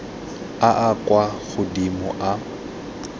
a a kwa godimo a